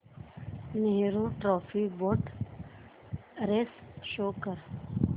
Nehru trophy boat race show कर